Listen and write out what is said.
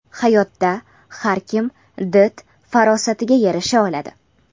Hayotda har kim did-farosatiga yarasha oladi.